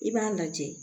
I b'a lajɛ